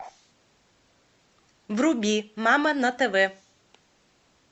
вруби мама на тв